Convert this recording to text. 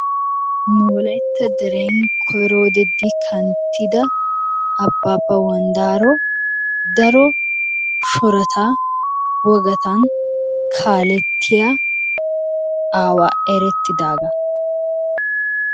Nu wolaytta deren koyro wode di kanttida Abaabba wanddaaro daro shorata, wogattan kaalettiya aawa erettidaagaa.